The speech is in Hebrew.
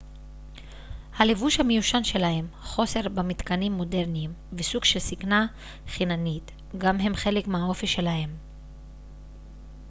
הלבוש המיושן שלהם חוסר במתקנים מודרניים וסוג של זקנה חיננית גם הם חלק מהאופי שלהם